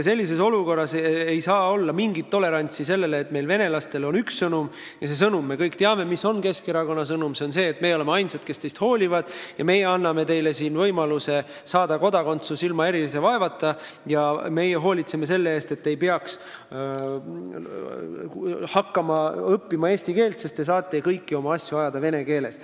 Sellises olukorras ei saa olla mingit tolerantsi, et meil on venelastele selline sõnum – me kõik teame, milline on Keskerakonna sõnum –, et meie oleme ainsad, kes teist hoolivad, meie anname teile siin võimaluse saada kodakondsus ilma erilise vaevata ja meie hoolitseme selle eest, et te ei peaks hakkama õppima eesti keelt, sest te saate kõiki oma asju ajada vene keeles.